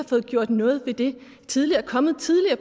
fået gjort noget ved det tidligere er kommet tidligere